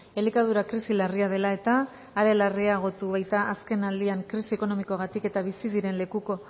elikadura krisi larria dela eta are larriagotu baita azkenaldian krisi ekonomikoagatik eta bizi diren lekuko